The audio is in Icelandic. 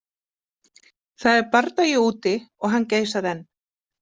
Það er bardagi úti og hann geysar enn.